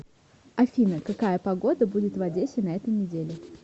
афина какая погода будет в одессе на эту неделю